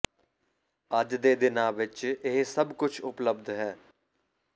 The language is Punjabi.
ਅੱਜ ਦੇ ਦਿਨਾਂ ਵਿੱਚ ਇਹ ਸਭ ਕੁਝ ਉਪਲਬਧ ਹੈ